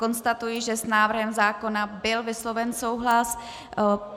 Konstatuji, že s návrhem zákona byl vysloven souhlas.